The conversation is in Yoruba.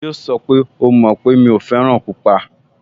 Yíò sọ pé, "O mọ̀ pé mi ò fẹ́ràn pupa"